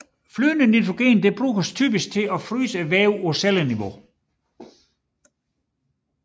Flydende nitrogen bruges typisk til at fryse vævet på celleniveau